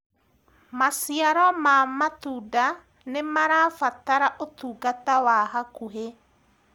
maciaro ma matunda nĩmarabatara utungata wa hakuhi